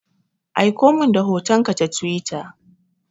Aikomin da hotonka ta Twitter.